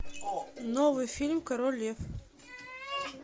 новый фильм король лев